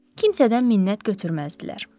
Kimsədən minnət götürməzdilər.